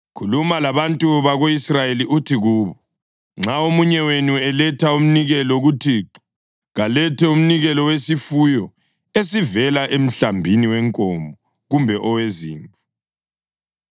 “Khuluma labantu bako-Israyeli uthi kubo, ‘Nxa omunye wenu eletha umnikelo kuThixo, kalethe umnikelo wesifuyo esivela emhlambini wenkomo kumbe owezimvu.